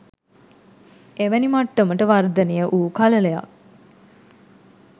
එවැනි මට්ටමට වර්ධනය වූ කළලයක්